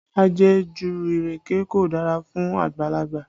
Ajẹ̀jù ìrèké kò dára fún àgbàlagbà